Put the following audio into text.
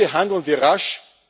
Bitte handeln wir rasch!